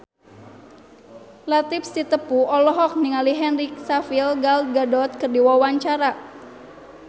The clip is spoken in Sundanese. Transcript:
Latief Sitepu olohok ningali Henry Cavill Gal Gadot keur diwawancara